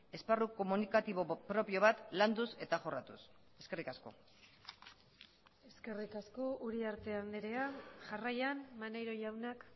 esparru komunikatibo propio bat landuz eta jorratuz eskerrik asko eskerrik asko uriarte andrea jarraian maneiro jaunak